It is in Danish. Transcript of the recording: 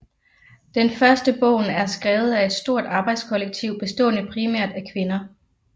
Den første bogen er skrevet af et stort arbejdskollektiv bestående primært af kvinder